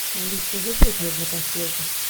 алиса вызвать нужно консьержа